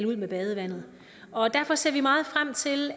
ud med badevandet derfor ser vi meget frem til